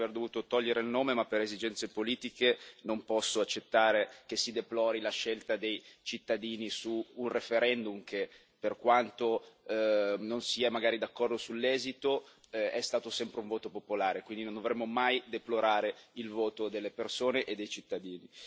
Mi spiace aver dovuto togliere il nome ma, per esigenze politiche, non posso accettare che si deplori la scelta dei cittadini su un referendum che per quanto io stesso non sia magari d'accordo sull'esito è stato pur sempre un voto popolare e quindi non dovremmo mai deplorare il voto dei cittadini.